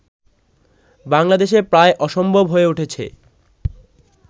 বাংলাদেশে প্রায় অসম্ভব হয়ে উঠেছে